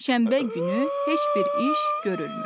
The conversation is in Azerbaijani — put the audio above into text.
Şənbə günü heç bir iş görülmür.